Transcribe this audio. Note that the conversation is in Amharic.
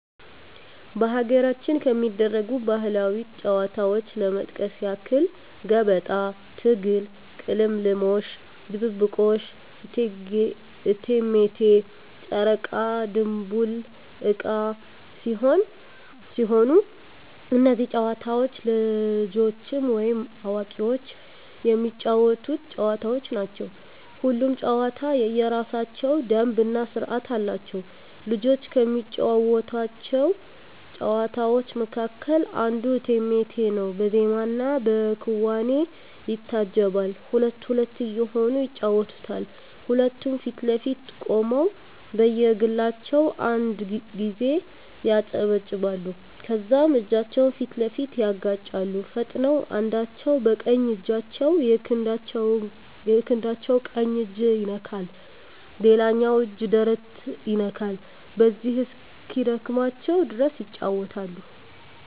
በሀገራችን ከሚደረጉ ባህላዊ ጨዋታዎች ለመጥቀስ ያክል ገበጣ፣ ትግል፣ ቅልምልሞሽ፣ ድብብቆሽ፣ እቴሜቴ፣ ጨረቃ ድንቡል ዕቃ ሲሆኑ እነዚህ ጨዋታዎች ልጆችም ወይም አዋቂዎች የሚጫወቱት ጨዋታዎች ናቸው። ሁሉም ጨዋታ የየራሳቸው ደንብ እና ስርዓት አላቸው። ልጆች ከሚጫወቷቸው ጨዋታዎች መካከል አንዱ እቴሜቴ ነው በዜማና በክዋኔ ይታጀባል ሁለት ሁለት እየሆኑ ይጫወቱታል ሁለቱም ፊት ለፊት ቆመው በየግላቸው አንድ ጊዜ ያጨበጭባሉ ከዛም እጃቸውን ፊት ለፊት ያጋጫሉ ፈጥነው አንዳቸው በቀኝ እጃቸው የክንዳቸው ቀኝ እጅ ይነካል ሌላኛው እጅ ደረት ይነካል በዚሁ እስኪደክማቸው ድረስ ይጫወታሉ።